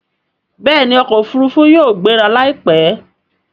Bẹẹni okò òfurufú yóò gbéra laipẹ.